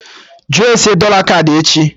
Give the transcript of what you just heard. Jụọ ese dọla kaadị echi!